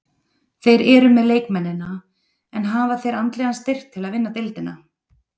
Þeir eru með leikmennina, en hafa þeir andlegan styrk til að vinna deildina?